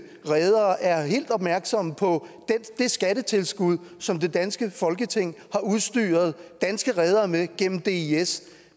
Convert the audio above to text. redere er helt opmærksomme på det skattetilskud som det danske folketing har udstyret danske redere med gennem dis